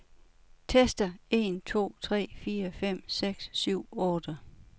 Tester en to tre fire fem seks syv otte.